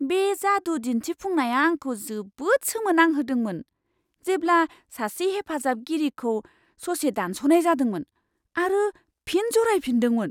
बे जादु दिन्थिफुंनाया आंखौ जोबोद सोमोनांहोदोंमोन, जेब्ला सासे हेफाजाबगिरिखौ ससे दानस'नाय जादोंमोन आरो फिन जरायफिन्दोंमोन!